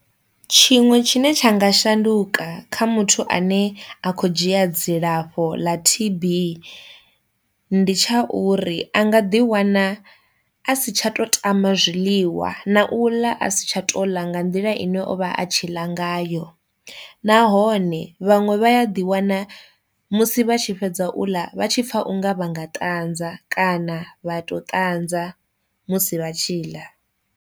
Tshiṅwe tshine tsha nga shanduka kha muthu ane a kho dzhia dzilafho ḽa T_B ndi tsha uri a nga ḓi wana a si tsha to tama zwiḽiwa na u ḽa a si tsha to ḽa nga nḓila ine o vha a tshi ḽa ngayo, nahone vhaṅwe vha a ḓi wana musi vha tshi fhedza u ḽa vha tshi pfa unga vha nga ṱanza kana vha to ṱanza musi vha tshi ḽa.